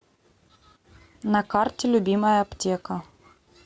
на карте любимая аптека